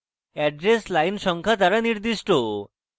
address line সংখ্যা দ্বারা নির্দিষ্ট